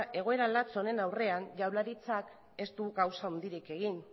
egoera latz honen aurrean jaurlaritzak ez du gauza handirik egin